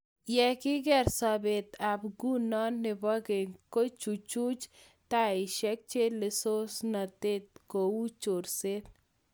Ye kiker sobet ab nguno ak nebo keny, kikochuchuch taishek chelososnatet kou chorset